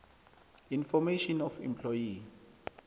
information of employee